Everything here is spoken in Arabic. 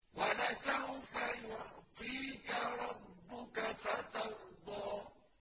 وَلَسَوْفَ يُعْطِيكَ رَبُّكَ فَتَرْضَىٰ